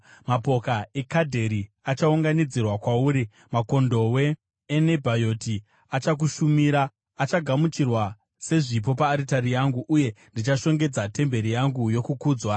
Mapoka eKedhari achaunganidzirwa kwauri makondobwe eNebhayoti achakushumira: achagamuchirwa sezvipo paaritari yangu, uye ndichashongedza temberi yangu yokukudzwa.